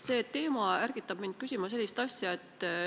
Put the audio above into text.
See teema ärgitab mind küsima sellist asja.